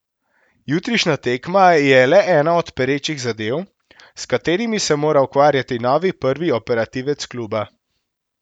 Jutrišnja tekma je le ena od perečih zadev, s katerimi se mora ukvarjati novi prvi operativec kluba.